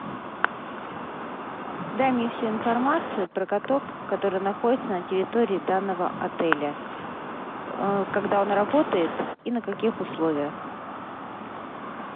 дай мне всю информацию про каток который находится на территории данного отеля когда он работает и на каких условиях